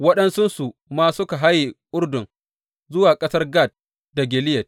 Waɗansunsu ma suka haye Urdun zuwa ƙasar Gad da Gileyad.